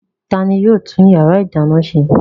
Ta ni yóò tún ìyàrá-ìdáná ṣe?